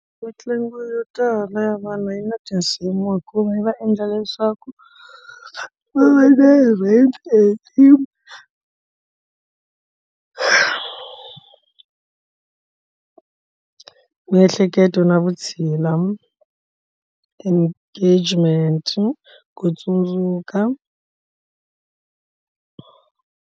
Mitlangu yo tala ya vanhu yi na tinsimu hikuva yi va endla leswaku va le rent and team miehleketo na vutshila engagement ku tsundzuka.